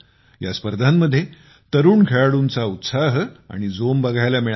या स्पर्धांमध्ये तरुण खेळाडूंचा उत्साह आणि जोम बघायला मिळाला